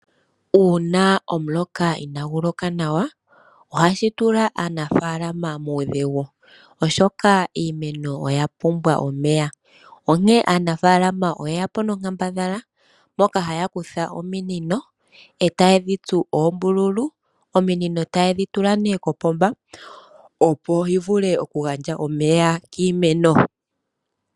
Uuna omuloka inaagu loka nawa ,ohashi tula aanafaalama muudhigu oshoka iimeno oya pumbwa omeya .Onkene aanafaalama oye yapo nonkambadhala moka haya kutha ominino , etaye dhi tsu oombululu , ominino tayedhi tula kopomba opo dhivule okugandja omeya kiimeno.